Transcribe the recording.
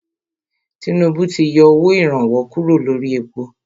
Tinúbú ti yọ owó ìrànwọ́ kúrò lórí èpo.